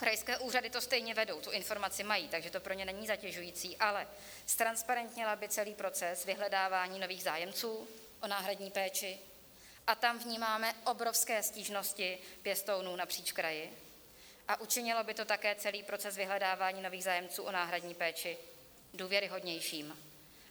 Krajské úřady to stejně vedou, tu informaci mají, takže to pro ně není zatěžující, ale ztransparentnila by celý proces vyhledávání nových zájemců o náhradní péči, a tam vnímáme obrovské stížnosti pěstounů napříč kraji, a učinilo by to také celý proces vyhledávání nových zájemců o náhradní péči důvěryhodnějším.